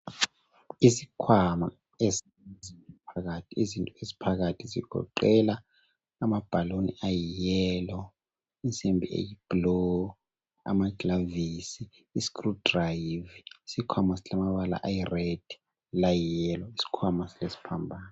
Isikhwama elezinto phakathi izinto eziphakathi zigoqela amabhaluni ayiyelo, insimbi eyibhulu amagilavisi ,isikrudrivi ,isikhwama silamabala ayiredi layiyelo isikhwama silesiphambano .